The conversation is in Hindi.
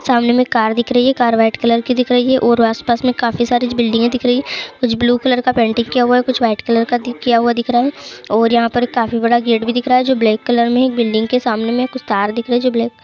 सामने मे में एक कार दिख रही है। कार व्हाइट कलर की दिख रही है और आस-पास में काफी सारी बिल्डिंगे दिख रही हैं कुछ ब्लू कलर का पेंटिंग किया हुआ है कुछ व्हाइट कलर भी किया हुआ दिख रहा है और यहाँ पर काफी बड़ा गेट भी दिख रहा है जो ब्लैक कलर में है। एक बिल्डिंग के सामने में कुछ तार दिख रहे है जो ब्लैक --